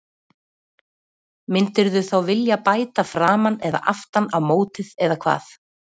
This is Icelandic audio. Myndirðu þá vilja bæta framan eða aftan á mótið eða hvað?